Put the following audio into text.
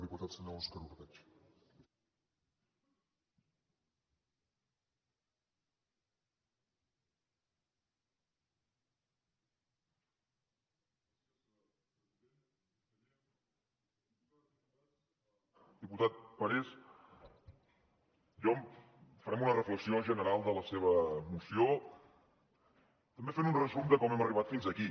diputat parés farem una reflexió general de la seva moció també fent un resum de com hem arribat fins aquí